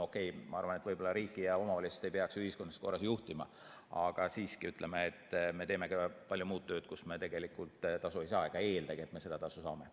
Okei, ma arvan, et riiki ja omavalitsust ei peaks ühiskondlikus korras juhtima, aga siiski, ütleme, me teeme ka palju muud tööd, mille eest me tegelikult tasu ei saa ega eeldagi, et me seda saame.